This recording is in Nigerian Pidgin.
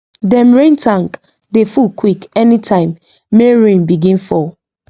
dem rain tank dey full quick anytime may rain begin fall